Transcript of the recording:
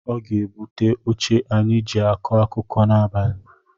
Ọ ga-ebute oche anyị jị akọ akụkọ n’abalị